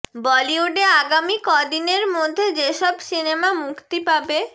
বলিউডে আগামী ক দিনের মধ্যে যেসব সিনেমা মুক্তি পাবে